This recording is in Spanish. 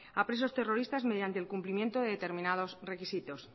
a presos terroristas mediante el cumplimiento de determinados requisitos